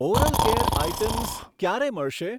Oral care items ક્યારે મળશે?